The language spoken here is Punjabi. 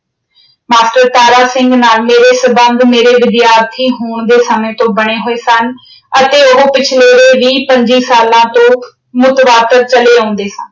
master ਤਾਰਾ ਸਿੰਘ ਨਾਲ ਮੇਰੇ ਸਬੰਧ ਮੇਰੇ ਵਿਦਿਆਰਥੀ ਹੋਣ ਦੇ ਸਮੇਂ ਤੋਂ ਬਣੇ ਹੋਏ ਸਨ ਅਤੇ ਉਹ ਪਿਛਲਰੇ ਵੀਹ ਪੰਝੀ ਸਾਲਾਂ ਤੋਂ ਚਲੇ ਆਉਂਦੇ ਸਨ।